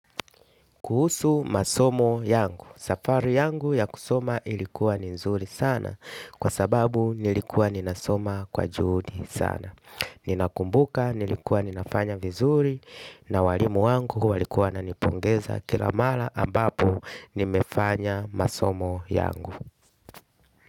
Kuhusu masomo yangu, safari yangu ya kusoma ilikuwa nizuri sana kwa sababu nilikuwa ninasoma kwa juhudi sana. Ninakumbuka nilikuwa ninafanya vizuri na walimu wangu walikuwa wananipongeza kilamara ambapo nimefanya masomo yangu.